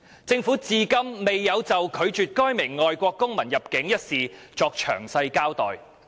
政府至今未有就拒絕該名外國公民入境一事作詳細交代。